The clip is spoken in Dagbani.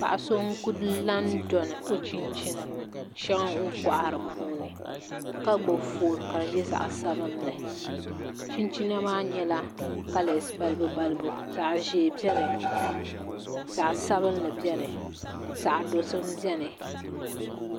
Paɣa so n ku la dini o chinchini shɛŋa o ni kohari puuni ka gbubi foon ka di nyɛ zaɣ sabinli chinchina maa nyɛla kalɛs balibu balibu zaɣ ʒiɛ biɛni zaɣ sabinli biɛni zaɣ dozim biɛni